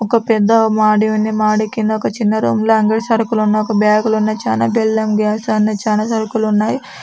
ఒక పెద్ద మాడి ఉంది. మాడి కింద ఒక చిన్న రూమ్ లాగా సరుకులు ఉన్నాయి. ఒక బ్యాగులు ఉన్నాయి. చానా సరుకులు ఉన్నాయి.